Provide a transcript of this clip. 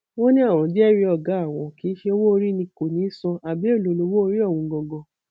wọn ní àwọn jẹrìí ọgá àwọn kì í ṣe owóorí ni kò ní í san àbí èèlò lowóorí ọhún ganan